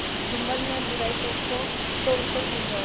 जुम्मन में बुराई देखो तो उसे समझाओ